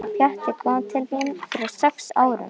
Pjatti kom til mín fyrir sex árum.